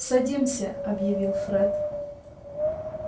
садимся объявил фред